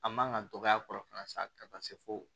A man kan ka dɔgɔya a kɔrɔ fana sa ka taa se fo